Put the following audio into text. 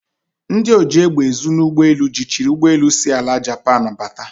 Ndi oji egbe ezu n'ugbi elu jichiri ugboelu si ala Japan bata.